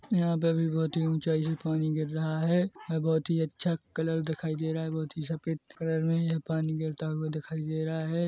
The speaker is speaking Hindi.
यहाँ पे भी बहुत ही ऊंचाई से पानी गिर रहा है और बहुत ही अच्छा कलर दिखाई दे रहा है बहुत ही सफ़ेद कलर मे है पानी गिरता हुआ दिखाई दे रहा है।